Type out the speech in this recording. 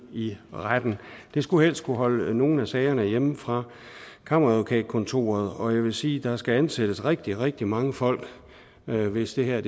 i retten det skulle helst kunne holde nogle af sagerne hjemme fra kammeradvokatkontoret og jeg vil sige at der skal ansættes rigtig rigtig mange folk hvis det her